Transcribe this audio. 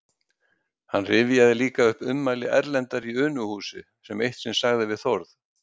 Hann rifjaði líka upp ummæli Erlendar í Unuhúsi, sem eitt sinn sagði við Þórð